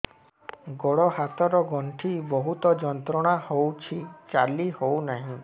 ଗୋଡ଼ ହାତ ର ଗଣ୍ଠି ବହୁତ ଯନ୍ତ୍ରଣା ହଉଛି ଚାଲି ହଉନାହିଁ